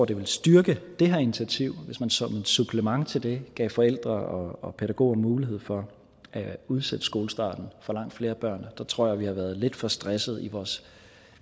det vil styrke det her initiativ hvis man som supplement til det gav forældre og pædagoger mulighed for at udsætte skolestarten for langt flere børn der tror jeg at vi har været lidt for stressede i vores